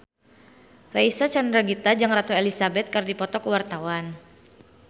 Reysa Chandragitta jeung Ratu Elizabeth keur dipoto ku wartawan